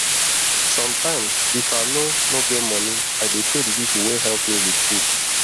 sometimes if i no no get money i dey pay the people wey help me with food